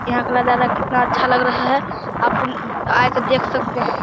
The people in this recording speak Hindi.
यहां का नजारा कितना अच्छा लग रहा है आप आ के देख सकते है।